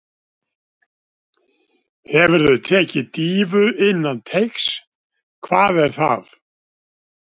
Hefurðu tekið dýfu innan teigs: Hvað er það?